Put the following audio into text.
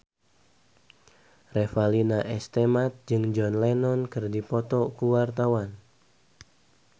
Revalina S. Temat jeung John Lennon keur dipoto ku wartawan